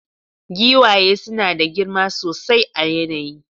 Giwaye suna da girma sosai a yanayi